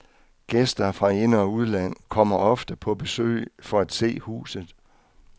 Gæster fra ind- og udland kommer ofte på besøg for at se huset.